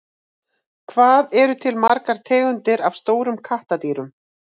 hvað eru til margar tegundir af stórum kattardýrum